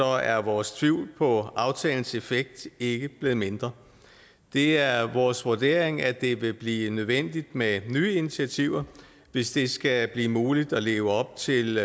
er vores tvivl på aftalens effekt ikke blevet mindre det er vores vurdering at det vil blive nødvendigt med nye initiativer hvis det skal blive muligt at leve op til